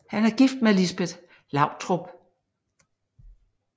Han er gift med Lisbet Lautrup